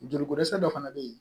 Joliko dɛsɛ dɔ fana bɛ yen